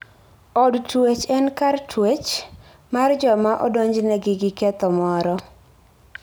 Od twech en kar twech mar joma odonjnegi gi ketho moro.